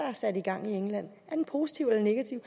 er sat i gang i england positiv eller negativ